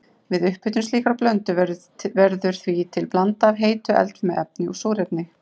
Við upphitun slíkrar blöndu verður því til blanda af heitu eldfimu efni og súrefni.